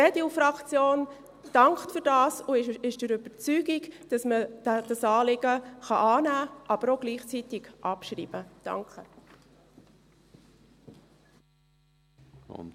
Die EDUFraktion dankt dafür und ist der Überzeugung, dass man dieses Anliegen annehmen, aber auch gleichzeitig abschreiben kann.